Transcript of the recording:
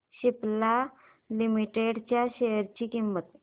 Cipla limited च्या share ची किंमत